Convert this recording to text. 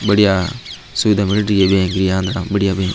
बढ़िया सुविधा मिल रही है बैंक की बढ़िया बैंक --